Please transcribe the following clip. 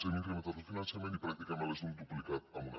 n’hem incrementat el finançament i pràcticament les hem duplicat en un any